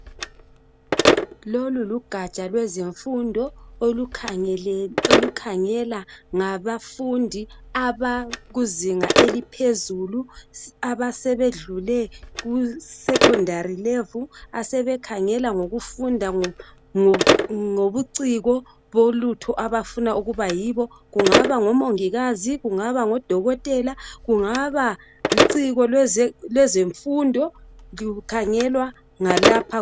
Lolu lugaja lwezemfundo. Olukhangela ngabafundi, abakuzinga eliphezulu. Abasebedlule kusekhondari levuli. Asebekhangela ngokufunda ngobuciko, bolutho abafuna ukuba yibo. Kungaba ngomongikazi, kungaba ngodokotela. Kungaba luciko lwezemfundo. Kukhangelwa ngalapha.